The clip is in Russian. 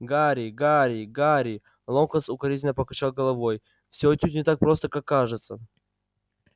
гарри гарри гарри локонс укоризненно покачал головой всё отнюдь не так просто как кажется